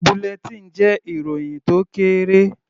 Bulletin jẹ́ ìròhìn tó kéré.